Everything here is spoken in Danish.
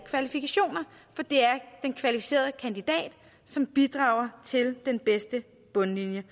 den kvalificerede kandidat som bidrager til den bedste bundlinje